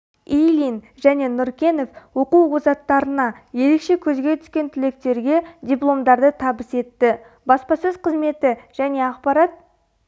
ильин және нұркенов оқу озаттарына ерекше көзге түскен түлектерге дипломдарды табыс етті баспасөз қызметі және ақпарат